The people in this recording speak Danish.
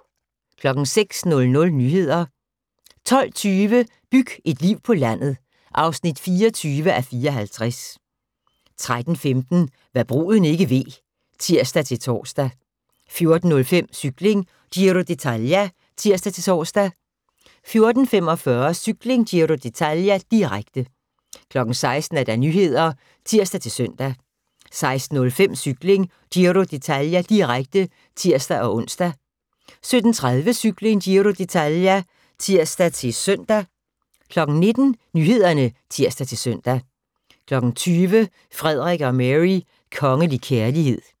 06:00: Nyheder 12:20: Byg et liv på landet (24:54) 13:15: Hva' bruden ikke ved (tir-tor) 14:05: Cykling: Giro d'Italia (tir-tor) 14:45: Cykling: Giro d'Italia, direkte 16:00: Nyhederne (tir-søn) 16:05: Cykling: Giro d'Italia, direkte (tir-ons) 17:30: Cykling: Giro d'Italia (tir-søn) 19:00: Nyhederne (tir-søn) 20:00: Frederik og Mary: Kongelig kærlighed